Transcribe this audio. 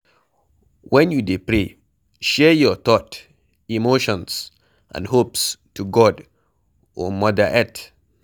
When you dey pray, share your thought, emotions and hopes to God or Mother Earth